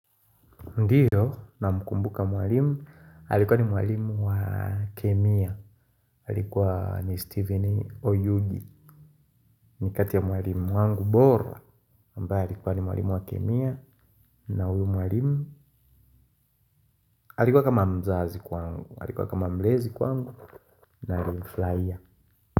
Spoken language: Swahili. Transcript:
Ndiyo namkumbuka mwalimu, alikuwa ni mwalimu wa kemia, alikuwa ni mwalimu Stephen Oyugi. Ni kati ya mwalimu wangu bora. Alikuwa kama mzazi kwangu, alikuwa kama mlezi kwangu na nilifurahia.